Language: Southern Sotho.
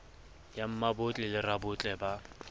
ya mmabotle le rabotle ba